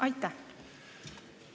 Aitäh!